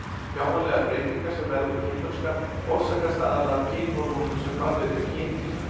Sjáanlegar breytingar sem verða við kynþroska orsakast aðallega af kynhormónum sem framleidd eru í kynkirtlum.